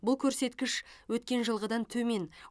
бұл көрсеткіш өткен жылғыдан төмен